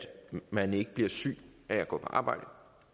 man ikke bliver syg af at gå på arbejde